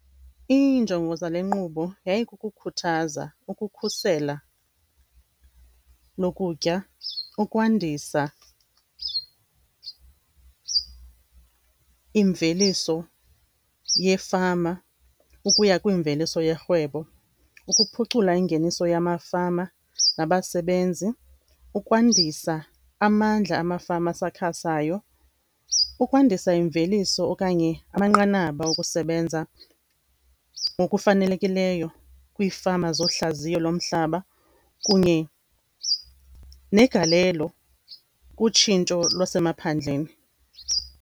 Iinjongo zale nkqubo yayikukukhuthaza, ukukhusela lokutya, ukwandisa imveliso yefama ukuya kwimveliso yerhwebo, ukuphucula ingeniso yamafama nabasebenzi, ukwandisa amandla amafama asakhasayo, ukwandisa imveliso okanye amanqanaba okusebenza ngokufanelekileyo kwiifama zohlaziyo lomhlaba kunye negalelo kutshintsho lwasemaphandleni.